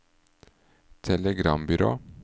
telegrambyrå